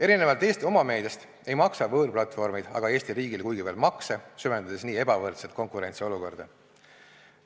Erinevalt Eesti omameediast ei maksa võõrplatvormid aga Eesti riigile kuigivõrd makse, süvendades nii ebavõrdset konkurentsiolukorda.